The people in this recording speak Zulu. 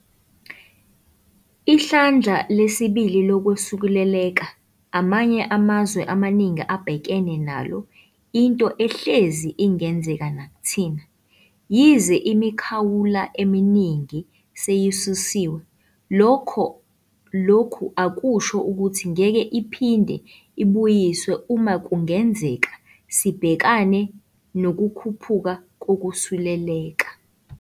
'Ihlandla lesibili' lokwesuleleka amanye amazwe amaningi abhekene nalo into ehlezi ingenzeka nakuthina. Yize imikhawulo eminingi seyisusiwe, lokhu akusho ukuthi ngeke iphinde ibuyiswe uma kungenzeka sibhekane nokukhuphuka kokusuleleka.